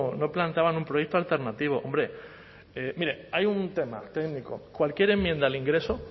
no planteaban un proyecto alternativo hombre mire hay un tema técnico cualquier enmienda al ingreso